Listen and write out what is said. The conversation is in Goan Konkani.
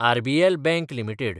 RBL bank limited